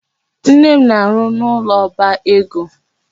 Nne m na-arụ n'ụlọ oba ego.